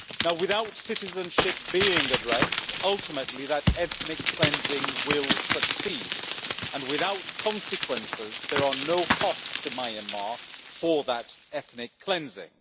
Without citizenship being addressed, ultimately that ethnic cleansing will succeed, and without consequences there are no costs to Myanmar for that ethnic cleansing.